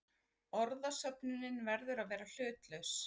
Orðasöfnunin verður að vera hlutlaus.